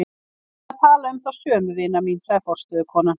Við erum að tala um þá sömu, vina mín, sagði forstöðukonan.